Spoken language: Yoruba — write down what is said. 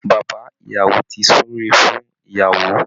Bàbá ìyàwó ti súre fún ìyàwó